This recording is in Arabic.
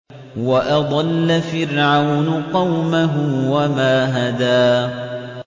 وَأَضَلَّ فِرْعَوْنُ قَوْمَهُ وَمَا هَدَىٰ